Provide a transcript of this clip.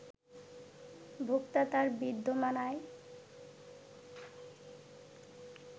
ভোক্তা, তার বিদ্যমান আয়